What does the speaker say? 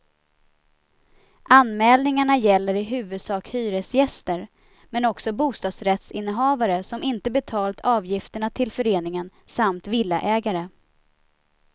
Anmälningarna gäller i huvudsak hyresgäster, men också bostadsrättsinnehavare som inte betalt avgifterna till föreningen samt villaägare.